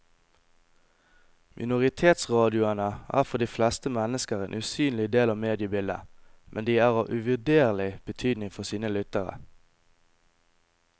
Minoritetsradioene er for de fleste mennesker en usynlig del av mediebildet, men de er av uvurderlig betydning for sine lyttere.